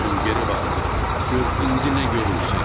İbrahim geri bax, gör indi nə görürsən?